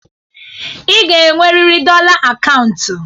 Ị ga-enweriri dọla akaụntụ.